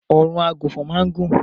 Ọrùn àgùnfọn máa ń gùn.